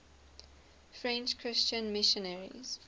french christian missionaries